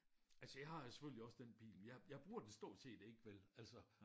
Altså jeg har jo selvfølgelig også den bil men jeg jeg bruger den stort set ikke vel altså